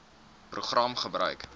program gebruik